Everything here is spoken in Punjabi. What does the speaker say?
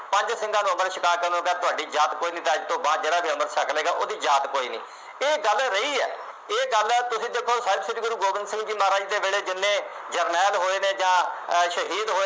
ਪੰਜ ਸਿੰਘਾਂ ਨੂੰ ਅੰਮ੍ਰਿਤ ਛਕਾ ਕੇ ਉਹਨਾ ਨੂੰ ਕਿਹਾ ਤੁਹਾਡੀ ਜਾਤ ਕੋਈ ਨਹੀਂ ਅਤੇ ਅੱਜ ਤੋਂ ਬਾਅਦ ਜਿਹੜਾ ਵੀ ਅੰਮ੍ਰਿਤ ਛਕ ਲਏਗਾ ਉਹਦੀ ਜਾਤ ਕੋਈ ਨਹੀਂ। ਇਹ ਗੱਲ ਰਹੀ ਹੈ। ਇਹ ਗੱਲ ਤੁਸੀਂ ਦੇਖੋ ਸਾਹਿਬ ਸ਼੍ਰੀ ਗੁਰੂ ਗੋਬਿੰਦ ਸਿੰਘ ਜੀ ਮਹਾਰਾਜ ਦੇ ਵੇਲੇ ਕਿੰਨੇ ਜਰਨੈਲ ਹੋਏ ਨੇ ਜਾਂ ਅਹ ਸ਼ਹੀਦ ਹੋਏ,